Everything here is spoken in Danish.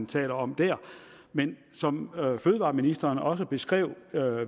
tale om der men som fødevareministeren også beskrev